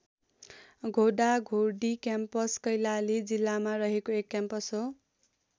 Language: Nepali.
घोडा घोडी क्याम्पस कैलाली जिल्लामा रहेको एक क्याम्पस हो।